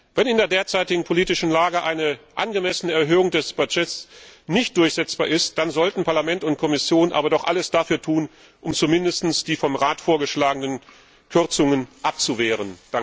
Wenn in der derzeitigen politischen Lage eine angemessene Erhöhung des Budgets nicht durchsetzbar ist, dann sollten Parlament und Kommission aber doch alles dafür tun, um zumindest die vom Rat vorgeschlagenen Kürzungen abzuwehren.